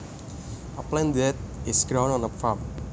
A plant that is grown on a farm